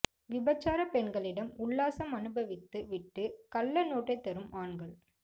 விபச்சாரப் பெண்களிடம் உல்லாசம் அனுபவித்து விட்டு கள்ள நோட்டைத் தரும் ஆண்கள்